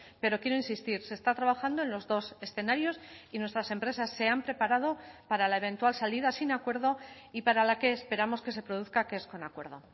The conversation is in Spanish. pero quiero insistir se está trabajando en los dos escenarios y nuestras empresas se han preparado para la eventual salida sin acuerdo y para la que esperamos que se produzca que es con acuerdo